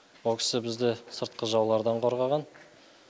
ол кісі бізді сыртқы жаулардан қорғаған